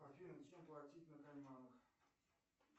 афина чем платить на кайманах